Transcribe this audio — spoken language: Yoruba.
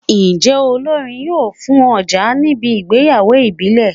Njé olórin yóò fùn ojà níbi ìgbéyàwó ìbílẹ̀?